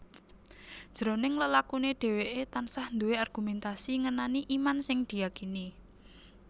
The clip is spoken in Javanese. Jroning lelakuné dhèwèké tansah duwé argumentasi ngenani iman sing diyakini